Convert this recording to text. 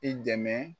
I dɛmɛ